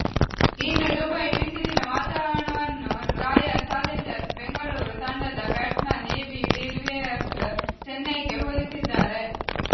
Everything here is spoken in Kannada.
ಇನ್ನು ದುಬೈ ಬಿಸಿಲಿನ ವಾತಾವರಣವನ್ನು ರಾಯಲ್ ಚಾಲೆಂಜರ್ಸ್ ಬೆಂಗಳೂರು ತಂಡದ ಬ್ಯಾಟ್ಸ್ಮನ್ ಎಬಿ ಡಿವಿಲಿಯರ್ಸ್ ಚೆನ್ನೈಗೆ ಹೋಲಿಸಿದ್ದಾರೆ